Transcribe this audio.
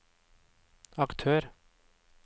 aktør